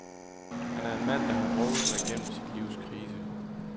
Han er en mand, der har drukket sig gennem sit livs krise.